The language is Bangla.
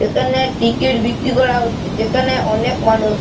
এখানে টিকেট বিক্রি হচ্ছে যেখানে অনেক মানুষ।